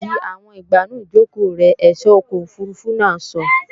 Di àwọn ìgbànú ìjòkò rẹ, ẹ̀só ọkọ̀ òfurufú náà sọ!